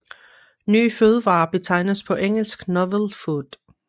Nye fødevarer betegnes på engelsk novel food